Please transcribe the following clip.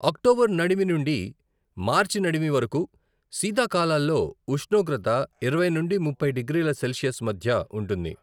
October నడిమి నుండి March నడిమి వరకు శీతాకాలాల్లో ఉష్ణోగ్రత ఇరవై నుండి ముప్పై డిగ్రీల సెల్సియస్ మధ్య ఉంటుంది.